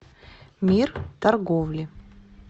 мир торговли